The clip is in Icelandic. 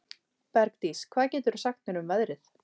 Bergdís, hvað geturðu sagt mér um veðrið?